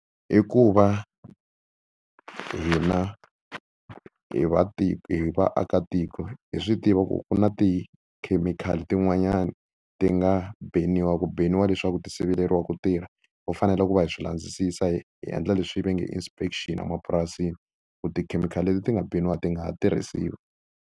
I ku va hina hi va hi vaakatiko hi swi tiva ku ku na tikhemikhali tin'wanyani ti nga beniwa ku beniwa leswaku ti siveriwa ku tirha. Ho fanele ku va hi swi landzisisa hi hi endla leswi va nge i inspection emapurasini ku tikhemikhali leti ti nga beniwa ti nga ha tirhisiwi.